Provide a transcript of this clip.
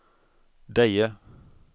Deje